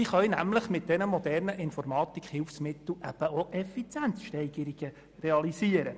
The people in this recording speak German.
Diese können mit den modernen Informatikhilfsmitteln Effizienzsteigerungen realisieren.